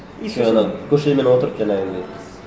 көршілерімен отырып жаңағындай